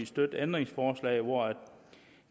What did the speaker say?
støtte ændringsforslaget hvor